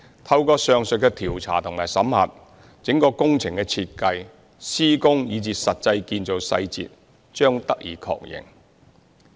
透過上述的調查和審核，整個工程的設計、施工，以至實際建造細節，將得以確認。